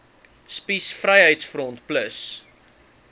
spies vryheids front plus